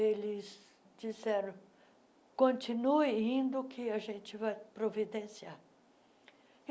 eles disseram, continue indo que a gente vai providenciar.